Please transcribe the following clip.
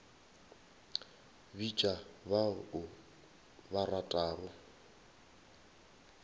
bitša ba o ba ratago